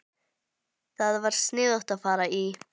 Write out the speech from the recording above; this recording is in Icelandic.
Það var sniðugt að fara í